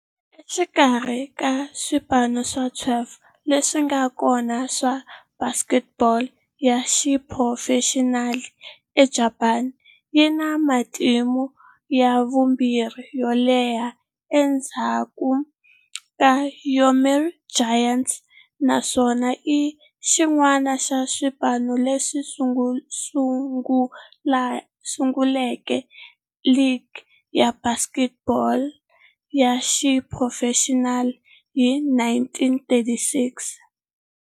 Exikarhi ka swipano swa 12 leswi nga kona swa baseball ya xiphurofexinali eJapani, yi na matimu ya vumbirhi yo leha endzhaku ka Yomiuri Giants, naswona i xin'wana xa swipano leswi sunguleke ligi ya baseball ya xiphurofexinali hi 1936.